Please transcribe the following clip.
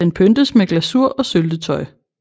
Den pyntes med glasur og syltetøj